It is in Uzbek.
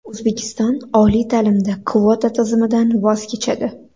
O‘zbekiston oliy ta’limda kvota tizimidan voz kechadi.